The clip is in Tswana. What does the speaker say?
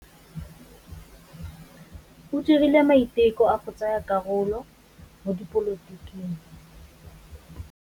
O dirile maitekô a go tsaya karolo mo dipolotiking.